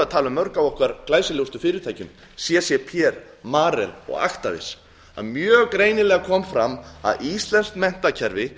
tala um mörg af okkar glæsilegustu fyrirtækjum ccp marel og actavis það kom mjög greinilega fram að íslenskt menntakerfi